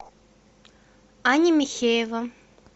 аня михеева